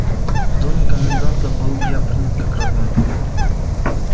в доме коменданта был я принят как родной